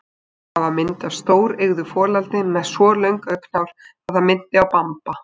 Þar var mynd af stóreygðu folaldi með svo löng augnhár að það minnti á Bamba.